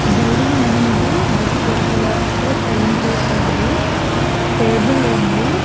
Building అనేది biscuit colour తో paint వేసి ఉంది టేబుల్ ఉంది.